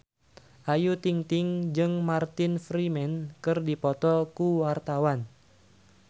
Ayu Ting-ting jeung Martin Freeman keur dipoto ku wartawan